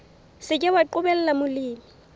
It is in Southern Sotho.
se ke wa qobella molemi